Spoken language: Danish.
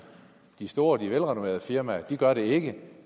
de store og de velrenommerede firmaer gør det ikke